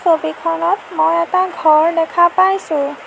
ছবিখনত মই এটা ঘৰ দেখা পাইছোঁ।